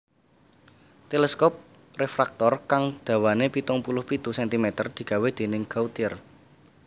Teleskop refraktor kang dawané pitung puluh pitu centimeter digawé dèning Gautier